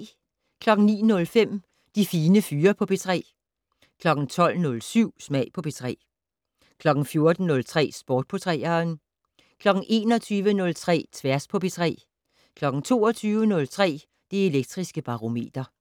09:05: De Fine Fyre på P3 12:07: Smag på P3 14:03: Sport på 3'eren 21:03: Tværs på P3 22:03: Det Elektriske Barometer